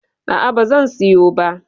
A'a, ba zan siyo ba.